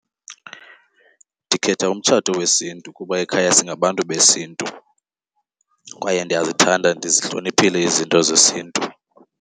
Ndikhetha umtshato wesiNtu kuba ekhaya singabantu besiNtu kwaye ndiyazithanda ndizihloniphile izinto zesiNtu.